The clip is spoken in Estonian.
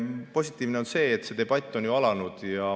Positiivne on see, et see debatt on alanud.